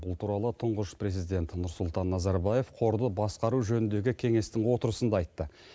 бұл туралы тұңғыш президент нұрсұлтан назарбаев қорды басқару жөніндегі кеңестің отырысында айтты